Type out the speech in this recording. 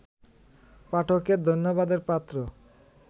পাঠকের ধন্যবাদের পাত্র